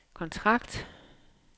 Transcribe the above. kontrakt